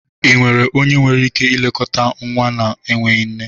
ị nwere onye nwere ike ilekọta nwa na-enweghị nne??